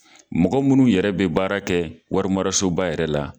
Mɔgɔ munnu yɛrɛ be baara kɛ warimarasoba yɛrɛ la